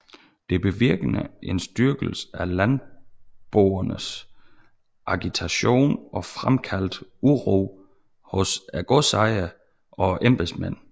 Det bevirkende en styrkelse af landboernes agitation og fremkaldte uro hos godsejere og embedsmænd